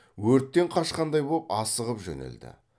өрттен қашқандай боп асығып жөнелді